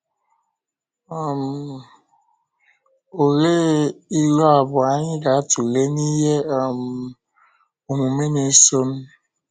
um Òlee ilu abụọ anyị ga-atụle n’ihe um ọmụmụ na-esonụ?